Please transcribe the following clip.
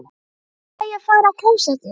Hvenær fæ ég að fara á klósettið?